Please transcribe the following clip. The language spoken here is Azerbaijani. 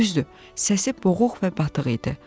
Düzdür, səsi boğuq və batıq idi.